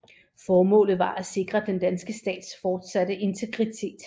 Formålet var at sikre den danske stats fortsatte integritet